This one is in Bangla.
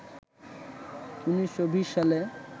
১৯২০ সালে